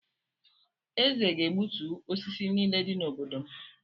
Eze ga-egbutu osisi niile dị n’obodo m.